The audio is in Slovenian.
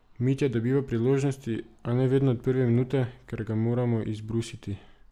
Mitja dobiva priložnosti, a ne vedno od prve minute, ker ga moramo izbrusiti.